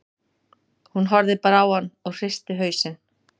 Hún horfði bara á hann og hristi hausinn.